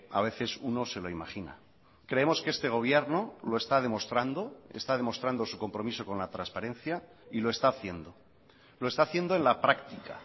a veces uno se lo imagina creemos que este gobierno lo está demostrando está demostrando su compromiso con la transparencia y lo está haciendo lo está haciendo en la práctica